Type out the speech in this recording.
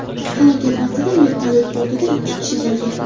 Halokat vaqtida vertolyot bortida ikki kishi bo‘lgan.